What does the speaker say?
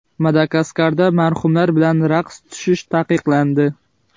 Madagaskarda marhumlar bilan raqs tushish taqiqlandi.